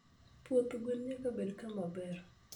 Puoth gwen nyaka bed kama ber.